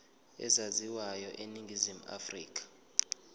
ezaziwayo eningizimu afrika